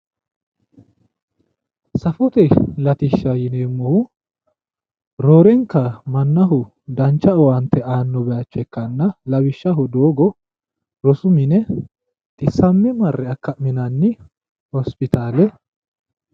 safote latishsha yineemmohu roorenka mannaho mannaho dancha owaante aanno bayiicho ikkanna lawishshaho rosu mine xiwammiro marre akkamminanni hospitaale.